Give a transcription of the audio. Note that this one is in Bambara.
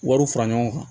Wariw fara ɲɔgɔn kan